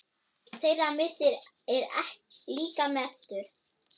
Þeirra missir er líka mestur.